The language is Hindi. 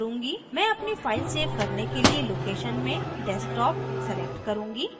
मैं अपनी फाइल सेव करने के लिए location में desktop select करूंगी